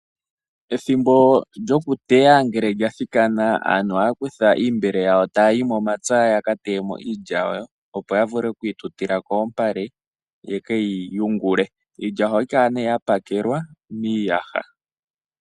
Ethimbo lyokuteya ngele lya thikana aantu ohaya kutha oombele dhawo ta yayi momapya yakateyemo iilya yawo opo yavule okuyi tutila koompale yekeyi yungule. Iilya ohayi kala nee ya pakelwa miiyaha .